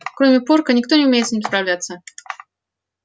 кроме порка никто не умеет с ним справляться